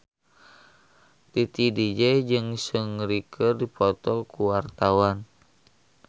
Titi DJ jeung Seungri keur dipoto ku wartawan